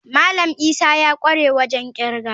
Malam Isa ya kware wajen kirga.